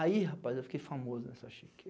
Aí, rapaz, eu fiquei famoso nessa Chique